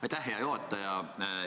Aitäh, hea juhataja!